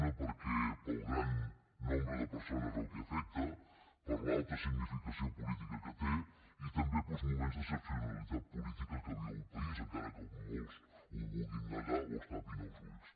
una pel gran nombre de persones a què afecta per l’alta significació política que té i també pels moments d’excepcionalitat política que viu el país encara que molts ho vulguin negar o es tapin els ulls